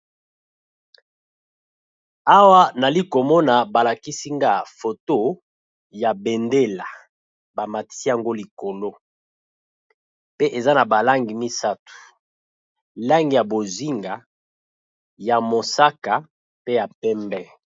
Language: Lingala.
Bendele ya mboka Rwana, ezali bongo na langi ya bozinga, ya mosaka na ya pondu na moyi ya mosaka.